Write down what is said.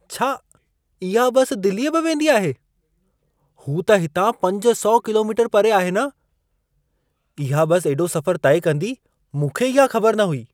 छा इहा बसि दिलीअ बि वेंदी आहे? हू त हितां 500 किलोमीटर परे आहे न? इहा बसि एॾो सफ़रु तइ कंदी, मूंखे इहा ख़बर न हुई।